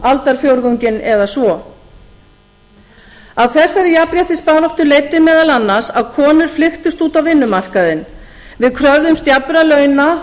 aldarfjórðunginn eða svo af þessari jafnréttisbaráttu leiddi meðal annars að konur flykktust út á vinnumarkaðinn við kröfðumst jafnra launa